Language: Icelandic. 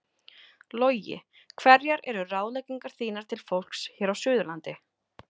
Logi: Hverjar eru ráðleggingar þínar til fólks hér á suðurlandi?